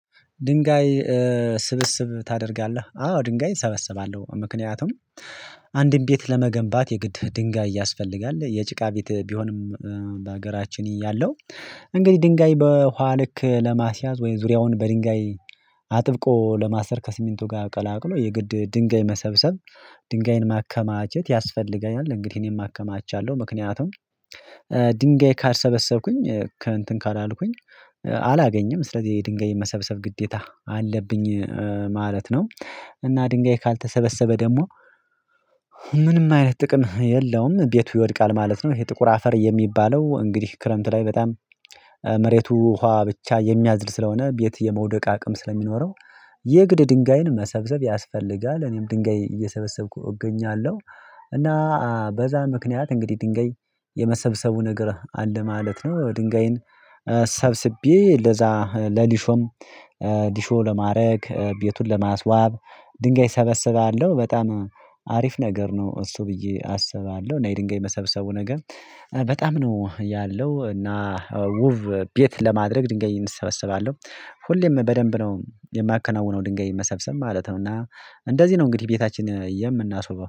ድንጋይ ስብስብ ታደርጋለህ? አዎ ድንጋይ እሰበስባለሁ። ምክንያቱም አንድም ቤት ለመገንባት የግድ ድንጋይ ያስፈልጋል የጭቃ ቤት ቢሆንም በሀገራችን ይያለሁ እንግዲህ ድንጋይ በኋልክ ለማስያዝ ወይም ዙሪያውን በድንጋይ አጥብቆ ለማስተር ከስሚንቱ ጋር ቀላቅሎ የግድ ድንጋይ መሰብሰብ ድንጋይን ማከማቸት ያስፈልገኛል እንግዲህ እኔን ማከማቸት አለው። ምክንያቱም ድንጋይ ካሰበሰብኩኝ ከእንትን ካላልኩኝ አላገኘም ስለዚህ የድንጋይ መሰብሰብ ግዴታ አለብኝ ማለት ነው። እና ድንጋይ ካልተሰበሰበ ደግሞ ምንም አይነት ጥቅም የለውም ቤቱ ይወድቃል ማለት ነው። ይሄ ጥቁር አፈር የሚባለው እንግዲህ ክረምት ላይ በጣም መሬቱ ውሃ ብቻ የሚያዝል ስለሆነ ቤት የመውደቅ አቅም ስለሚኖረው የእግድ ድንጋይን መሰብሰብ ያስፈልጋል እኔም ድንገይ እየሰበሰብኩ እገኛለሁ። እና በዛ ምክንያት እንግዲህ ድንገይ የመሰብሰቡ ነገር አለ ማለት ነው። ድንጋይን ሰብስቤ ለዛ ለሊሾም ዲሾ ለማድረግ ቤቱን ለማስዋብ ድንጋይ ሰበስባለሁ በጣም አሪፍ ነገር ነው። እሱ ብዬ አስባለሁ እና የድንጋይ መሰብሰቡ ነገር በጣም ነው ያለው እና ውብ ቤት ለማድረግ ድንገት እንሰበሰባለሁ ሁሌም በደንብ ነው የማከናውነው ድንጋይን መሰብሰብ ማለት ነው። እና እንደዚህ ነው እንግዲህ ቤታችን የምናስውበው